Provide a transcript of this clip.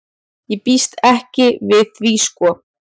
Ég býst ekki við því sko.